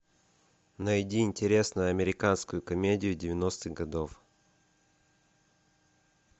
найди интересную американскую комедию девяностых годов